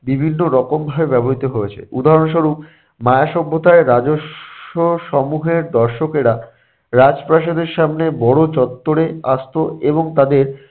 বিভিন্ন রকম ভাবে ব্যবহৃত হয়েছে। উদাহরণস্বরূপ - মায়া সভ্যতায় রাজস্ব সমূহের দর্শকেরা রাজপ্রাসাদের সামনে বড় চত্বরে আসতো এবং তাদের